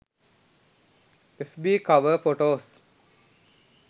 fb cover photos